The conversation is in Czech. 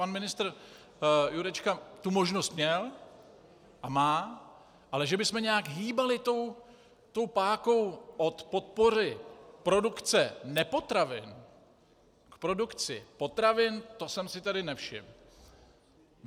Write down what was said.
Pan ministr Jurečka tu možnost měl a má, ale že bychom nějak hýbali tou pákou od podpory produkce nepotravin k produkci potravin, to jsem si tedy nevšiml.